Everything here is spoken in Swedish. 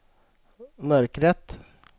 mörkret